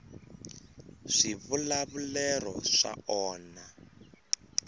swivulavulero swa onha